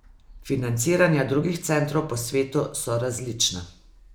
Financiranja drugih centrov po svetu so različna.